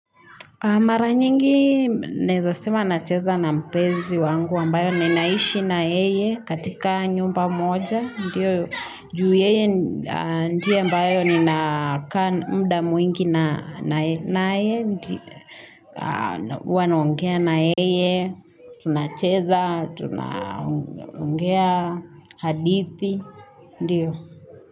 Mara nyingi naezasema nacheza na mpenzi wangu ambaye ninaishi na yeye katika nyumba moja. Ndiyo, juu yeye ndiye ambayo nina kaa mda mwingi na naye. Uwa naongea na yeye, tuna cheza, tunaongea hadithi, ndiyo.